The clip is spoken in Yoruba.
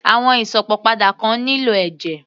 Àwọn Ìsópọ̀ padà kan nílò ẹ̀jẹ̀